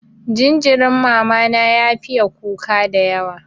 Jinjirin mama na ya fiye kuka dayawa.